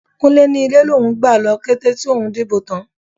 Kúnlé ni ilé lòun gbà lọ kété tòun dìbò tán.